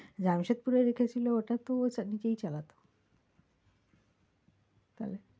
জামশেদপুরে রেখেছিলো ওটা তো ও sir নিজেই চালাতো তাহলে?